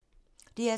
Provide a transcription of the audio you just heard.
DR2